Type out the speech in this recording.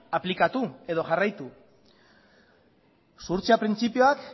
aplikatu edo jarraitu zuhurtzia printzipioa